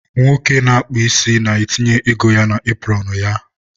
nwoke na-akpụ isi na-etinye ego ya na epụrọnụ ya